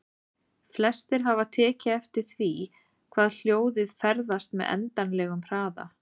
Flestir hafa tekið eftir því að hljóðið ferðast með endanlegum hraða.